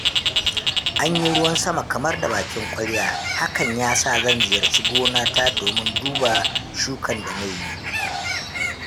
Anyi ruwan sama kamar da bakin ƙwarya, hakan yasa zan ziyarci gona ta domin duba shukan da na yi.